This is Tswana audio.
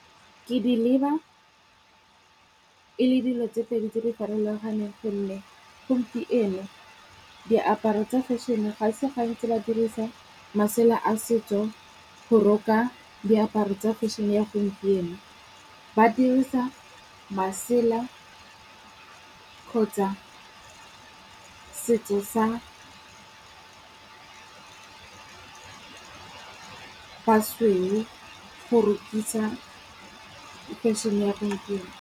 Ke di leba, e le dilo tse pedi tse di farologaneng gonne gompieno, diaparo tsa fešhene ga se gantsi ba dirisa masela a setso go roka diaparo tsa fashion e ya gompieno. Ba dirisa masela ka kgotsa setso sa basweu go rukisa fešhene ya gopieno.